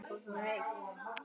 Lof sé þér, Guð.